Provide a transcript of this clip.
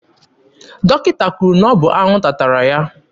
Dọkịta kwuru na ọ bụ anwụnta tara